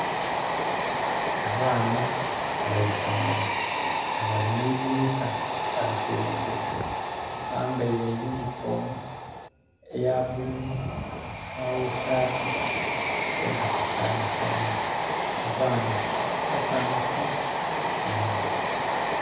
Abaana abeisomero nga bali mwidhinisa bali kulengeza bambeire eyunifoomu eya bululu nhe sati eya kasayisayi, abaana basanhufu inho.